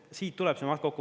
Siit tuleb see maht kokku.